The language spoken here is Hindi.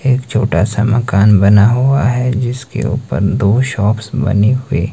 एक छोटा सा मकान बना हुआ है जिसके ऊपर दो शॉप्स बने हुए--